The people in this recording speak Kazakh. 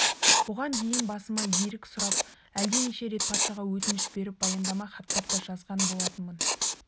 бұған дейін басыма ерік сұрап әлденеше рет патшаға өтініш беріп баяндама хаттар да жазған болатынмын